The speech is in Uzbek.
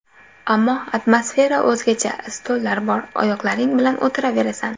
Ammo atmosfera o‘zgacha: stollar bor, oyoqlaring bilan o‘tiraverasan.